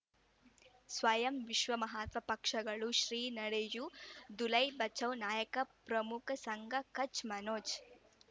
ಸ್ವಯಂ ವಿಶ್ವ ಮಹಾತ್ಮ ಪಕ್ಷಗಳು ಶ್ರೀ ನಡೆಯೂ ದುಲೈ ಬಚೌ ನಾಯಕ ಪ್ರಮುಖ ಸಂಘ ಕಚ್ ಮನೋಜ್